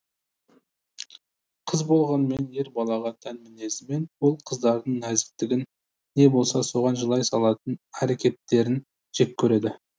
қыз болғанмен ер балаға тән мінезімен ол қыздардың нәзіктігін не болса соған жылай салатын әрекеттерін жек көреді